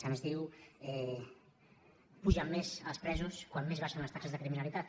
se’ns diu pugen més els presos quan més baixen les taxes de criminalitat